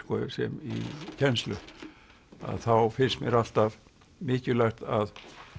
í kennslu að þá finnst mér alltaf mikilvægt að